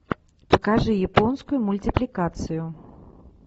покажи японскую мультипликацию